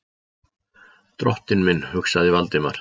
Drottinn minn, hugsaði Valdimar.